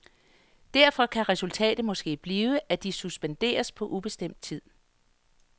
Derfor kan resultatet måske blive, at de suspenderes på ubestemt tid.